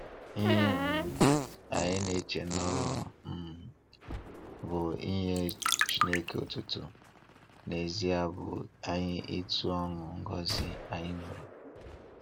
Ihe um anyị na-eche na ọ um bụ inye Chineke otuto, n'ezie bụ anyị itu ọnụ ngọzi anyị nwere.